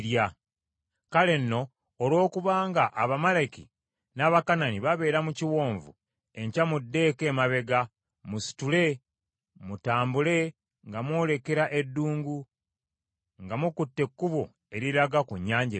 Kale nno olwokubanga Abamaleki n’Abakanani babeera mu biwonvu; enkya muddeeko emabega, musitule mutambule nga mwolekera eddungu nga mukutte ekkubo eriraga ku Nnyanja Emyufu.”